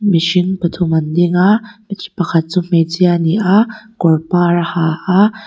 mihring pathum an ding a pakhat chu hmeichhia a ni a kawr pâr a ha a.